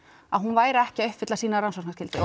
að hún væri ekki að uppfylla sína rannsóknarskyldu